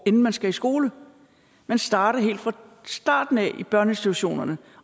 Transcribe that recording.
inden man skal i skole at man starter helt fra starten af i børneinstitutionerne